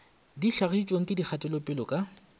di hlagišitšwego ke dikgatelopele ka